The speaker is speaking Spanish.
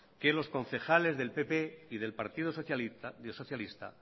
que los concejales del pp y del partido socialista